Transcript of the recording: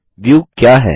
view क्या है